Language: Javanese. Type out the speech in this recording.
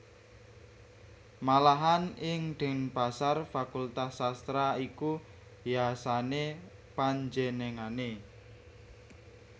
Malahan ing Denpasar fakultas sastra iku yasané panjenengané